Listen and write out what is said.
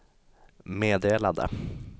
meddelade